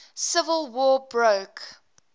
civil war broke